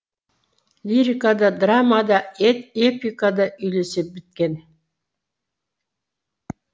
лирика да драма да эпика да үйлесе біткен